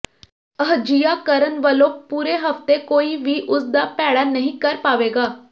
ਅਜਿਹਾ ਕਰਣ ਵਲੋਂ ਪੁਰੇ ਹਫਤੇ ਕੋਈ ਵੀ ਉਸਦਾ ਭੈੜਾ ਨਹੀਂ ਕਰ ਪਾਵੇਗਾ